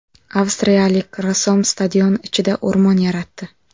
Avstriyalik rassom stadion ichida o‘rmon yaratdi .